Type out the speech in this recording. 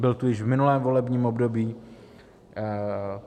Byl tu již v minulém volebním období.